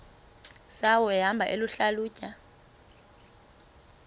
zawo ehamba eyihlalutya